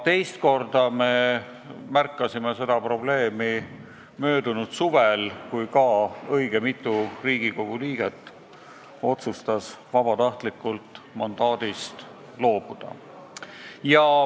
Teist korda märkasime seda probleemi möödunud suvel, kui ka õige mitu Riigikogu liiget otsustas vabatahtlikult mandaadist loobuda.